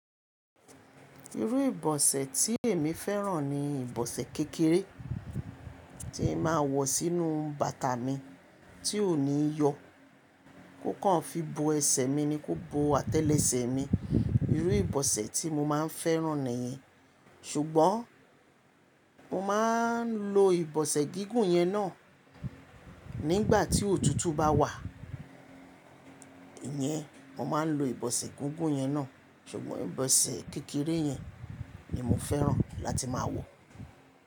Irú ìbọ̀sẹ̀ tí èmi fẹ́ràn ni ìbọ̀sẹ̀ kékeré tí ń máa wọ sínú bàtà mi tí ò ní yọ, kó kàn fi bo ẹsẹ̀ mi ni kó bo àtẹ́lẹsẹ̀ mi. Irú ìbọ̀sẹ̀ tí mo máa ń fẹ́ràn nìyẹn. Ṣùgbọ́n mo máa ń lo ìbọ̀sẹ̀ gígùn yen náà nígbà tí òtútù bá wà. Íyẹn mo máa ń lo ìbọ̀sẹ̀ gígùn yen náà, ṣùgbọ́n ìbọ̀sẹ̀ kékeré yen ni mo fẹ́ràn láti máa wọ.